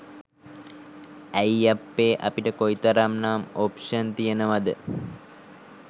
ඇයි අප්පේ අපිට කොයිතරම් නම් ඔප්ෂන් තියෙනවද